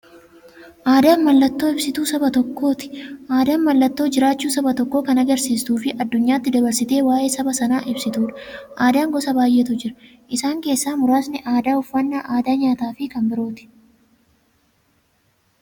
Aadaan mallattoo ibsituu saba tokkooti. Aadaan mallattoo jiraachuu saba tokkoo kan agarsiistufi addunyyaatti dabarsitee waa'ee saba sanaa ibsituudha. Aadaan gosa baay'eetu jira. Isaan keessaa muraasni aadaa, uffannaa aadaa nyaataafi kan biroo.